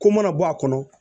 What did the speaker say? Ko mana bɔ a kɔnɔ